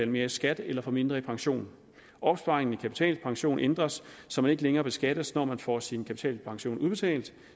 mere i skat eller får mindre i pension opsparingen i kapitalpension ændres så man ikke længere beskattes når man får sin kapitalpension udbetalt